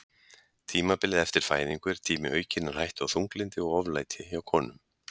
tímabilið eftir fæðingu er tími aukinnar hættu á þunglyndi og oflæti hjá konum